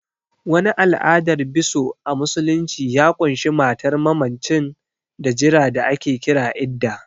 Wani al'adar biso a musulunci ya ƙunshi matar mammacin da jira da ake kira Iddah